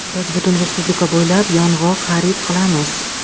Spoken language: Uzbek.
Biz butun respublika bo‘ylab yong‘oq xarid qilamiz.